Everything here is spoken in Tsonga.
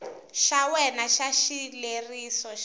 xa wena xa xileriso xa